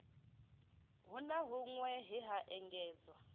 na hunwe he ha engedzwa